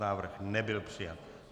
Návrh nebyl přijat.